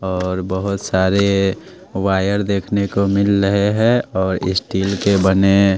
और बहुत सारे वायर देखने को मिल रहे हैं और स्टील के बने--